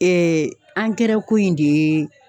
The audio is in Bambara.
ko in de ye